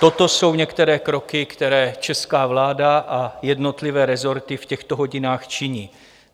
Toto jsou některé kroky, které česká vláda a jednotlivé resorty v těchto hodinách činí.